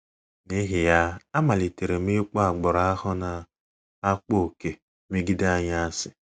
N’ihi ya, amalitere m ịkpọ agbụrụ ahụ na - akpa ókè megide anyị asị. ”